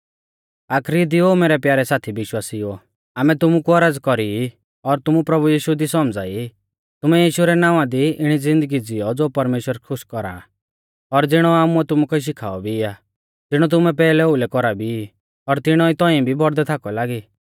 आखरी दी ओ मैरै प्यारै साथी विश्वासिउओ आमै तुमु कु औरज़ कौरी ई और तुमु प्रभु यीशु दी सौमझ़ाई ई तुमै यीशु रै नावां दी इणी ज़िन्दगी ज़िऔ ज़ो परमेश्‍वर खुश कौरा आ और ज़िणौ आमुऐ तुमुकै शिखाऔ भी आ ज़िणौ तुमै पैहलै ओउलै कौरा भी ई और तिणौ ई तौंइऐ भी बौड़दै थाकौ लागी